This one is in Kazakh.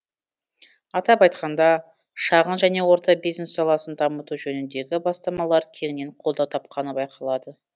атап айтқанда шағын және орта бизнес саласын дамыту жөніндегі бастамалар кеңінен қолдау тапқаны байқалады